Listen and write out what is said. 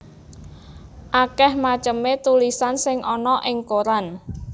Akèh macemé tulisan sing ana ing koran